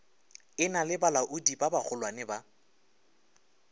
e na le balaodibagolwane ba